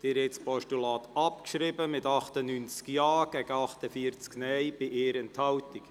Sie haben das Postulat abgeschrieben mit 98 Ja-, bei 48 Nein-Stimmen und 1 Enthaltung.